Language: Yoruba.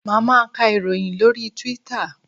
Máa ma ka ìròyìn lórí Twitter.